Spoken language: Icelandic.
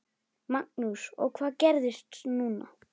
Magnús: Og hvað gerist núna?